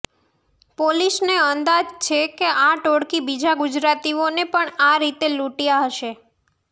પોલીસને અંદાજ છે કે આ ટોળકી બીજા ગુજરાતીઓને પણ આ રીતે લૂંટયા હશે